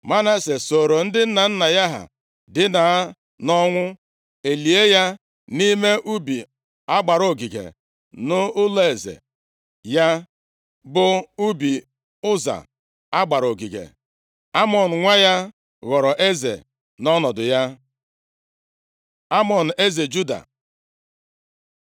Manase soro ndị nna nna ya ha dina nʼọnwụ, e lie ya nʼime ubi a gbara ogige nʼụlọeze ya, bụ ubi Ụza a gbara ogige. Amọn nwa ya ghọrọ eze nʼọnọdụ ya. Amọn eze Juda